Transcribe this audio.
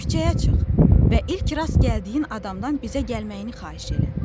Küçəyə çıx və ilk rast gəldiyin adamdan bizə gəlməyini xahiş elə.